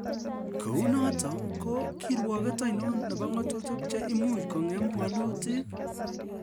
"Kou noton ko kiruoget oinon nebo ng'atutik che imuch kong'em walutik?